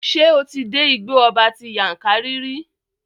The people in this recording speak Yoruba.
Ṣé o ti dé Igbó ọba ti Yankari rí?